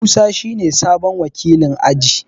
Musa shine sabon wakilin aji.